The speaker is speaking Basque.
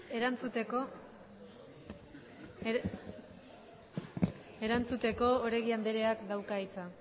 erantzuteko oregi anderea dauka hitza